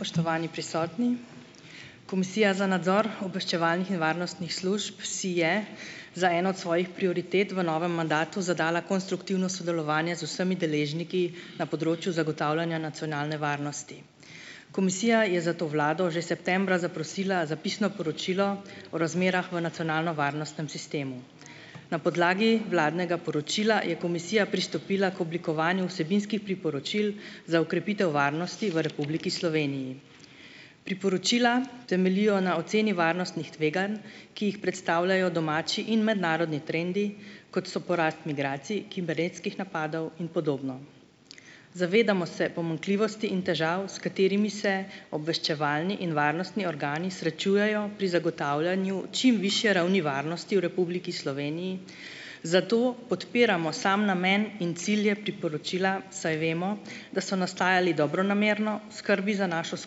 Spoštovani prisotni. Komisija za nadzor obveščevalno-varnostnih služb si je za eno od svojih prioritet v novem mandatu zadala konstruktivno sodelovanje z vsemi deležniki na področju zagotavljanja nacionalne varnosti, komisija je zato vlado že septembra zaprosila za pisno sporočilo o razmerah v nacionalnovarnostnem sistemu. Na podlagi vladnega poročila je komisija pristopila k oblikovanju vsebinskih priporočil za okrepitev varnosti v Republiki Sloveniji. Priporočila temeljijo na oceni varnostnih tveganj, ki jih predstavljajo domači in mednarodni trendi, kot so porast migracij kibernetskih napadov in podobno. Zavedamo se pomanjkljivosti in težav, s katerimi se obveščevalni in varnostni organi srečujejo pri zagotavljanju čim višje ravni varnosti v Republiki Sloveniji, zato podpiramo sam namen in cilje priporočila, saj vemo, da so nastajali dobronamerno v skrbi za našo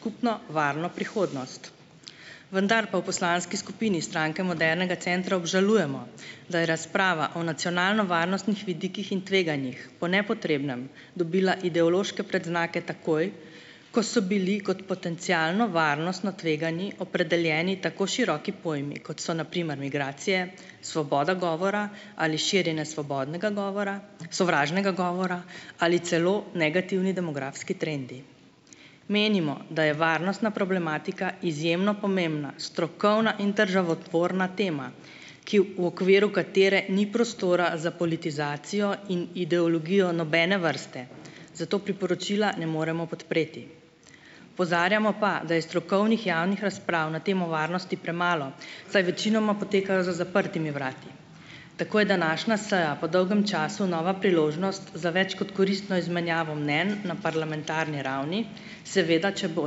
skupno varno prihodnost, vendar pa v poslanski skupini Stranke modernega centra obžalujemo, da je razprava o nacionalnovarnostnih vidikih in tveganjih po nepotrebnem dobila ideološke predznake takoj, ko so bili kot potencialno varnostno tvegani opredeljeni tako široki pojmi, kot so na primer migracije, svoboda govora ali širjenje svobodnega govora, sovražnega govora, ali celo negativni demografski trendi. Menimo, da je varnostna problematika izjemno pomembna strokovna in državotvorna tema, ki v po okviru katere ni prostora za politizacijo in ideologijo nobene vrste, zato priporočila ne moremo podpreti, opozarjamo pa, da je strokovnih javnih razprav na temo varnosti premalo, saj večinoma potekajo za zaprtimi vrati, tako je današnja seja po dolgem času nova priložnost za več kot koristno izmenjavo mnenj na parlamentarni ravni, seveda če bo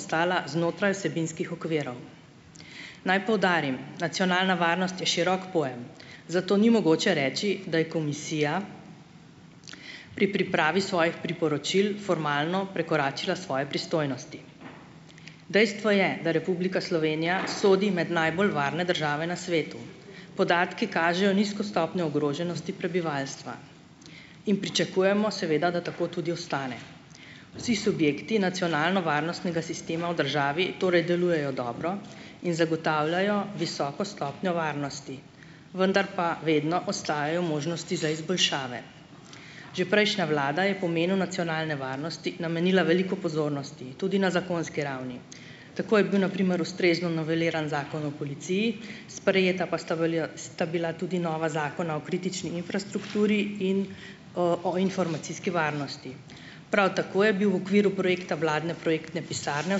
ostala znotraj vsebinskih okvirov. Naj poudarim, nacionalna varnost je širok pojem, zato ni mogoče reči, da je komisija pri pripravi svojih priporočil formalno prekoračila svoje pristojnosti, dejstvo je, da Republika Slovenija sodi med najbolj varne države na svetu, podatki kažejo nizko stopnjo ogroženosti prebivalstva in pričakujemo seveda, da tako tudi ostane, vsi subjekti nacionalnovarnostnega sistema v državi torej delujejo dobro in zagotavljajo visoko stopnjo varnosti, vendar pa vedno ostajajo možnosti za izboljšave. Že prejšnja vlada je pomenu nacionalne varnosti namenila veliko pozornosti tudi na zakonski ravni, tako je bil na primer ustrezno noveliran zakon o policiji, sprejeta pa sta sta bila tudi nova zakona o kritični infrastrukturi in o o informacijski varnosti. Prav tako je bil v okviru projekta vladne projektne pisarne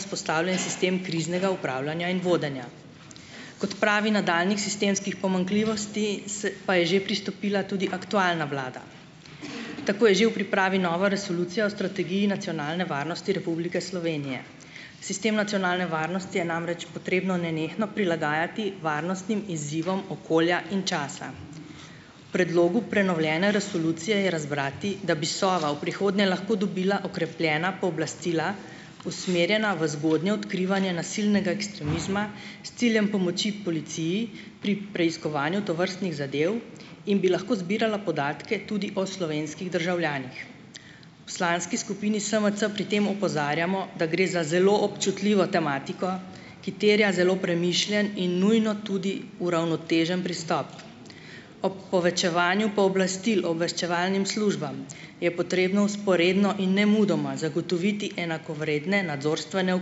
vzpostavljen sistem kriznega upravljanja in vodenja. K odpravi nadaljnjih sistemskih pomanjkljivosti pa je že pristopila tudi aktualna vlada, tako je že v pripravi nova resolucija o strategiji nacionalne varnosti Republike Slovenije. Sistem nacionalne varnosti je namreč potrebno nenehno prilagajati varnostnim izzivom okolja in časa, v predlogu prenovljene resolucije je razbrati, da bi Sova v prihodnje lahko dobila okrepljena pooblastila, usmerjena v zgodnje odkrivanje nasilnega ekstremizma, s ciljem pomoči policiji pri preiskovanju tovrstnih zadev in bi lahko zbirala podatke tudi o slovenskih državljanih. Poslanski skupini SMC pri tem opozarjamo, da gre za zelo občutljivo tematiko, ki terja zelo premišljen in nujno tudi uravnotežen pristop. Ob povečevanju pooblastil obveščevalnim službam je potrebno vzporedno in nemudoma zagotoviti enakovredne nadzorstvene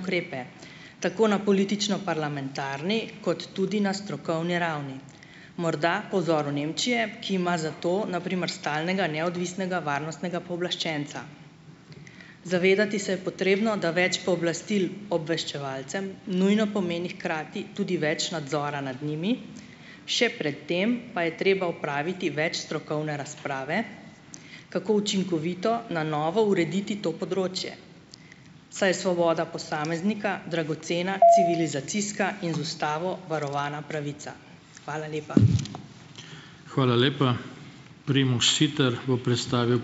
ukrepe tako na politično-parlamentarni kot tudi na strokovni ravni, morda po vzoru Nemčije, ki ima za to na primer stalnega neodvisnega varnostnega pooblaščenca. Zavedati se je potrebno, da več pooblastil obveščevalcem nujno pomeni hkrati tudi več nadzora nad njimi, še pred tem pa je treba opraviti več strokovne razprave, kako učinkovito na novo urediti to področje, saj svoboda posameznika dragocena civilizacijska in z ustavo varovana pravica. Hvala lepa. Hvala lepa. Primož Siter bo predstavil ...